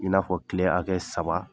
i n'a fɔ tile hakɛ saba.